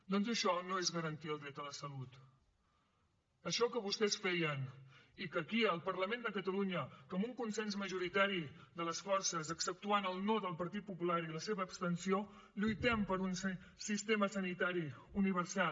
doncs això no és garantir el dret a la salut això que vostès feien i que aquí al parlament de catalunya amb un consens majoritari de les forces exceptuant el no del partit popular i la seva abstenció lluitem per un sistema sanitari universal